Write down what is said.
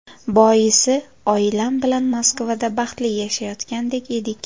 Boisi oilam bilan Moskvada baxtli yashayotgan edik.